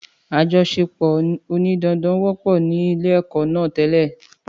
Àjọṣe pò òní dandan wọ́pọ̀ ní ilé èkọ́ náà tẹ́lẹ̀